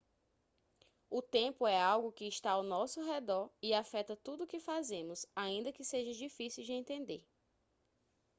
o tempo é algo que está ao nosso redor e afeta tudo o que fazemos ainda que seja difícil de entender